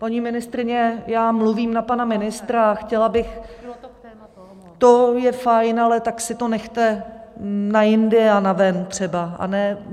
Paní ministryně, já mluvím na pana ministra a chtěla bych - To je fajn, ale tak si to nechte na jindy a na ven třeba.